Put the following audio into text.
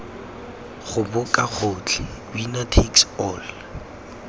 goboka gotlhe winner takes all